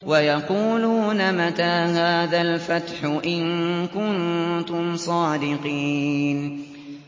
وَيَقُولُونَ مَتَىٰ هَٰذَا الْفَتْحُ إِن كُنتُمْ صَادِقِينَ